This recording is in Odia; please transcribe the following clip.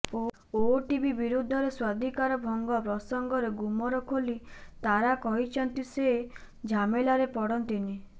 ଓଟିଭି ବିରୋଧରେ ସ୍ୱାଧିକାର ଭଙ୍ଗ ପ୍ରସଙ୍ଗରେ ଗୁମର ଖୋଲି ତାରା କହିଛନ୍ତି ସେ ଝାମେଲାରେ ପଡ଼ନ୍ତିନି